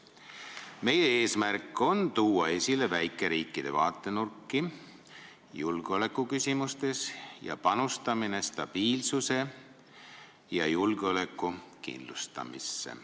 Meie eesmärk on tuua esile väikeriikide vaatenurki julgeolekuküsimustes ning panustada stabiilsuse ja julgeoleku kindlustamisse.